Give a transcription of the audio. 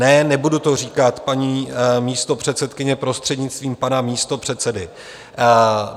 Ne, nebudu to říkat, paní místopředsedkyně, prostřednictvím pana místopředsedy.